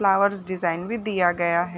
Flowers design भी दिया गया हैं।